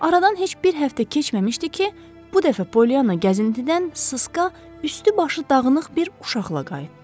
Aradan heç bir həftə keçməmişdi ki, bu dəfə Polyana gəzintidən sısqa, üstü-başı dağınıq bir uşaqla qayıtdı.